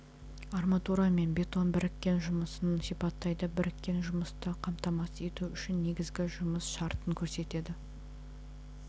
арматура мен бетон біріккен жұмысын сипаттайды біріккен жұмысты қамтамасыз ету үшін негізгі жұмыс шартын көрсетеді